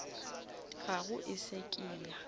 gago e se ke ya